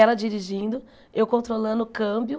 Ela dirigindo, eu controlando o câmbio.